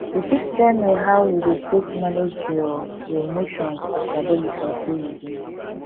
you fit tell me how you dey take manage your your emotions as adolescent wey you be